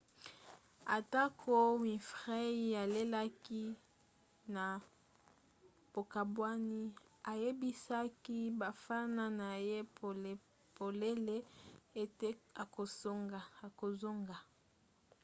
atako winfrey alelaki na bokabwani ayebisaki bafana na ye polele ete akozonga